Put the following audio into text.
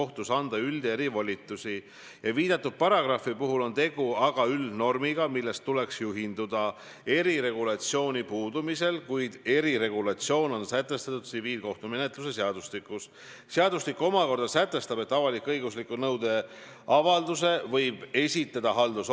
Tähendab, mina loen teie tsitaati, austatud proua Kaja Kallas, mille te eile ütlesite: "Vaadates kõike seda, mida ta peaministrina on korda saatnud, siis Jüri Ratas peaministrina müüks Eesti maha esimesel võimalusel, kui ta saaks jätkata peaministrina, ja ma arvan, et see ei ole Eesti huvides.